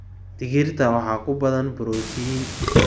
Digirta waxaa ku badan borotiin.